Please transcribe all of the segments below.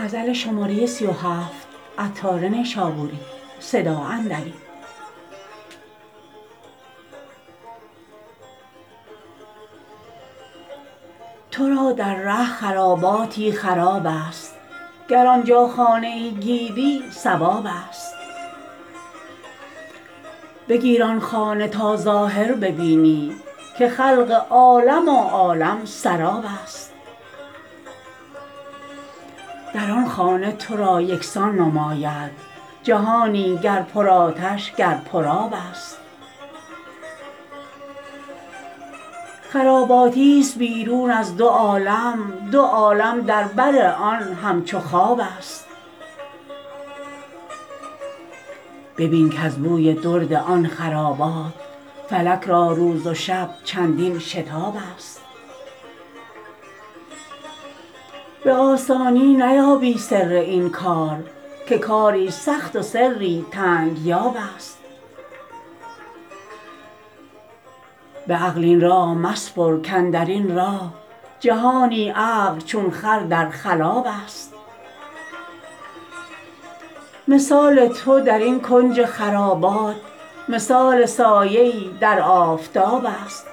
تو را در ره خراباتی خراب است گر آنجا خانه ای گیری صواب است بگیر آن خانه تا ظاهر ببینی که خلق عالم و عالم سراب است در آن خانه تو را یکسان نماید جهانی گر پر آتش گر پر آب است خراباتی است بیرون از دو عالم دو عالم در بر آن همچو خواب است ببین کز بوی درد آن خرابات فلک را روز و شب چندین شتاب است به آسانی نیابی سر این کار که کاری سخت و سری تنگ یاب است به عقل این راه مسپر کاندرین راه جهانی عقل چون خر در خلاب است مثال تو درین کنج خرابات مثال سایه ای در آفتاب است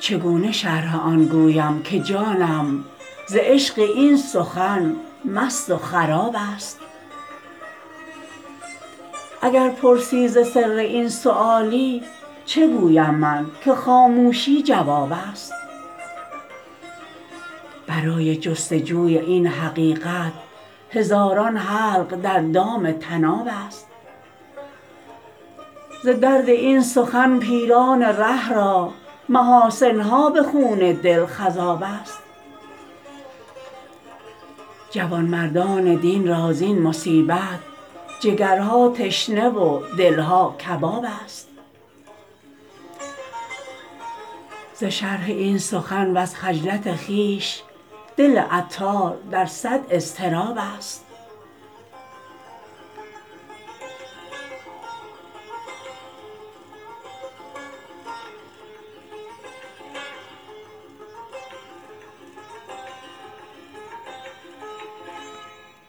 چگونه شرح آن گویم که جانم ز عشق این سخن مست و خراب است اگر پرسی ز سر این سؤالی چه گویم من که خاموشی جواب است برای جست و جوی این حقیقت هزاران حلق در دام طناب است ز درد این سخن پیران ره را محاسن ها به خون دل خضاب است جوانمردان دین را زین مصیبت جگرها تشنه و دلها کباب است ز شرح این سخن وز خجلت خویش دل عطار در صد اضطراب است